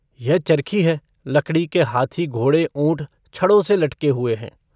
यह चर्खी है, लकड़ी के हाथी घोड़े ऊँट छड़ों से लटके हुए हैं।